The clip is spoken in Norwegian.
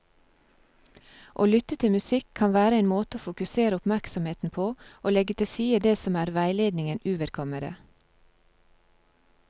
Å lytte til musikk kan være en måte å fokusere oppmerksomheten på og legge til side det som er veiledningen uvedkommende.